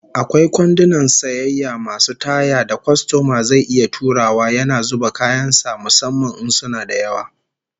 Akwai kwandunan sayayya masu taya da kwastoma zai iya turawa yana zuba kayan sa musamman in suna da yawa